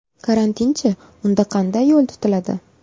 Karantinchi, unda qanday yo‘l tutiladi?